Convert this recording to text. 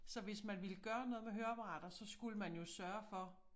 Så hvis man ville gøre noget med høreapparater så skulle man jo sørge for